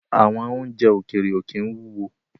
Àwọn oúnjẹ ókéré ó kín wúwo